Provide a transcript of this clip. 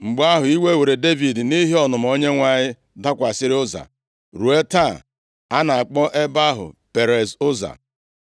Mgbe ahụ, iwe were Devid nʼihi ọnụma Onyenwe anyị dakwasịrị Ụza, ruo taa, a na-akpọ ebe ahụ Perez Ụza.